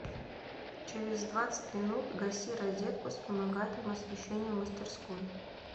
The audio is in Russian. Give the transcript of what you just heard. через двадцать минут гаси розетку с вспомогательным освещением в мастерской